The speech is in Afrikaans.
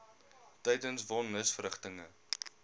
tydens von nisverrigtinge